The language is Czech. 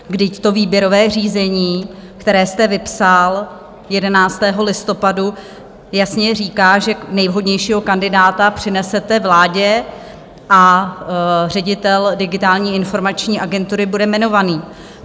Vždyť to výběrové řízení, které jste vypsal 11. listopadu, jasně říká, že nejvhodnějšího kandidáta přinesete vládě, a ředitel Digitální informační agentury bude jmenovaný.